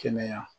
Kɛnɛya